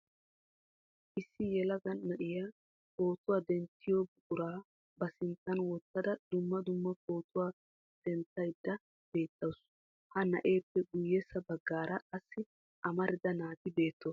Issi yelaga na'iyaa pootuwaa denttiyo buqura ba sinttan wottada dumma dumma pootuwa denttayda beettawus. Ha na'eppe guyyessa baggaara qassi amarida naati beettoosona.